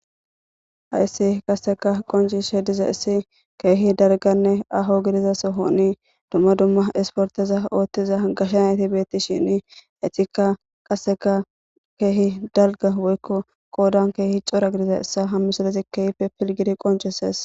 Hayssi qasseka qonci she diza issi keehi darganne aho gidiza soho ni dumma dumma isporteza ooththiza gasha nati beetti shini etika qasseka keehi dalga woykko qoodan keehi cora gidiza issa hammisalezi keyfe pilgiri qonchesees